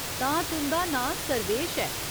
तां तुं'दा नांऽ सर्वेश ऐ।